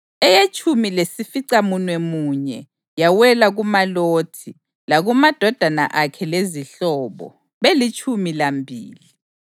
eyetshumi lesificamunwemunye yawela kuMalothi, lakumadodana akhe lezihlobo, belitshumi lambili;